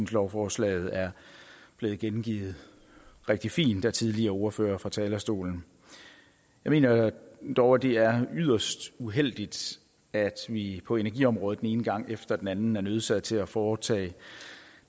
at lovforslaget er blevet gengivet rigtig fint af tidligere ordførere fra talerstolen jeg mener dog at det er yderst uheldigt at vi på energiområdet den ene gang efter den anden er nødsaget til at foretage